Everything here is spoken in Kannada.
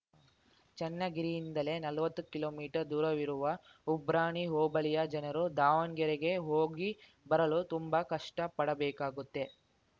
ಚನ್ನಗಿರಿಯಿಂದಲೇ ನಲ್ವತ್ತು ಕಿಲೋ ಮೀಟರ್ ದೂರವಿರುವ ಉಬ್ರಾಣಿ ಹೋಬಳಿಯ ಜನರು ದಾವಣ್ಗೆರೆಗೆ ಹೋಗಿ ಬರಲು ತುಂಬಾ ಕಷ್ಟಪಡಬೇಕಾಗುತ್ತೆ